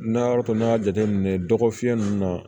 N'a y'a to n'i y'a jateminɛ dɔgɔfiɲɛ ninnu na